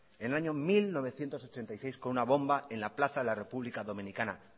en el año mil novecientos ochenta y seis con una bomba en la plaza de la república dominicana